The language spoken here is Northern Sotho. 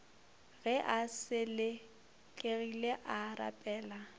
ge a selekegile a rapela